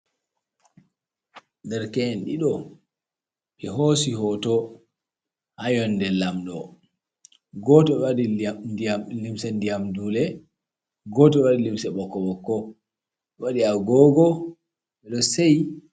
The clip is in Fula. Derke’en ɗiɗo, ɓe hoosi hoto haa yonde lamɗo. Goto ɗo waɗi limsa ndiyam dule, goto bo waɗi limse ɓokko-ɓokko, ɗo waɗi agogo, ɗo seyi.